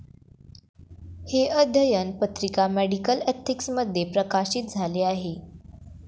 ' हे अध्ययन पत्रिका 'मेडिकल एथिक्स'मध्ये प्रकाशित झाले आहे.